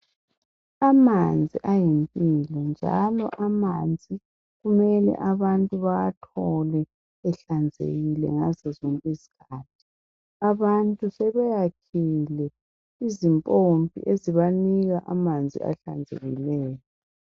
Amanzi ayimpilo njalo amanzi kumele abantu bawathole ehlanzekile ngazozonke izikhathi abantu sebeyakhile izimpompi ezibanika amanzi ahlanzekileyo.